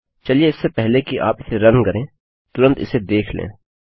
चलिए इससे पहले कि आप इसे रन करें तुरंत इसे देख लें